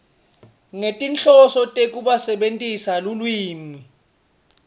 ngetinhloso tekusebentisa lulwimi